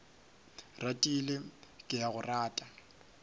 ratile ke a go rata